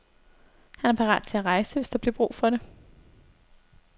Han er parat til at rejse, hvis der bliver brug for det.